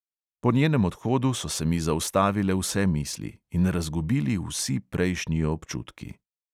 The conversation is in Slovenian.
Po njenem odhodu so se mi zaustavile vse misli in razgubili vsi prejšnji občutki.